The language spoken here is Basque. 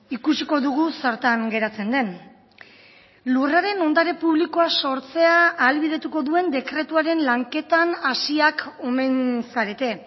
ikusiko dugu zertan geratzen den lurraren ondare publikoa sortzea ahalbidetuko duen dekretuaren lanketan hasiak omen zarete